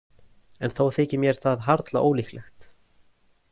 En þó þykir mér það harla ólíklegt.